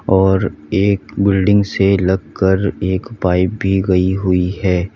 और एक बिल्डिंग से लगकर एक पाइप भी गई हुई है।